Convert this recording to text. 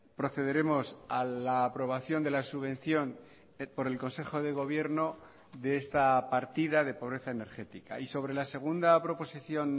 procederemos a la aprobación de la subvención por el consejo de gobierno de esta partida de pobreza energética y sobre la segunda proposición